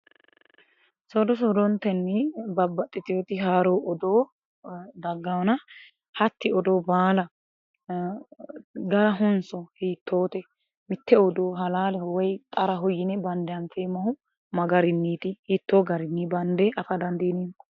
Soodo soodontenni babbaxitinoti haaro odoo dagganonna hatti odoo baalla garahonso hiittote mite odoo halaalehonso woyi xaraho yinne bande anfeemmohu magarinniti, hiitto garinni bande afa dandiineemmo.